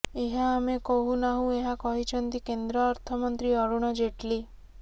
ଏହା ଆମେ କହୁ ନାହୁଁ ଏହା କହିଛନ୍ତି କେନ୍ଦ୍ର ଅର୍ଥମନ୍ତ୍ରୀ ଅରୁଣ ଜେଟଲି